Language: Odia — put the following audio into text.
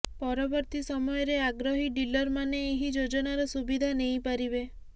ପରବର୍ତ୍ତୀ ସମୟରେ ଆଗ୍ରହୀ ଡିଲର୍ମାନେ ଏହି ଯୋଜନାର ସୁବିଧା ନେଇପାରିବେ